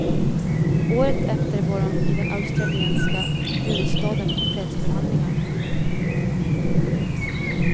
Året efter var hon i den australiensiska huvudstaden på fredsförhandlingar.